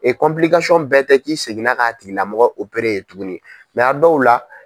E bɛɛ tɛ k'i seginna k'a tigi lamɔgɔ yen tuguni a dɔw la